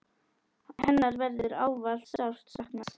Hennar verður ávallt sárt saknað.